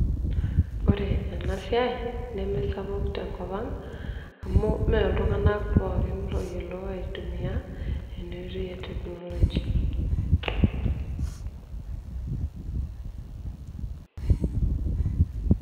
Ore ena siai nemesapuk tenkopang' amu mee iltung'anak kumok ooyiolo aitumia enasiai e technology.